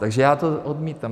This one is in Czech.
Takže já to odmítám.